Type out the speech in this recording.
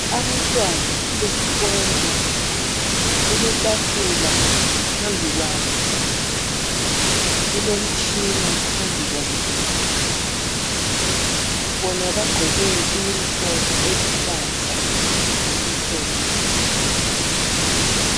Abantwana besikolo, kuletafula phambi kwabo, kulomtshina phambi kwabo. Bona bagqoke iyunifomu eluhlaza lokumhlophe.